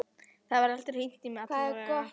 Það var aldrei hringt í mig, allavega.